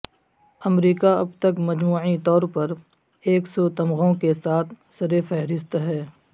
امریکہ ابتک مجموعی طور پر ایک سو تمغوں کے ساتھ سر فہرست ہے